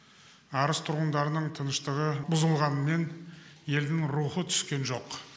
арыс тұрғындарының тыныштығы бұзылғанымен елдің рухы түскен жоқ